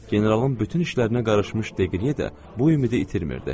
Generalın bütün işlərinə qarışmış Deqriye də bu ümidi itirmirdi.